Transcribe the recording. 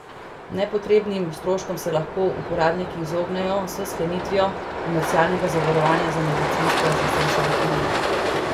Nepotrebnim stroškom se lahko uporabniki izognejo s sklenitvijo komercialnega zavarovanja z medicinsko asistenco v tujini.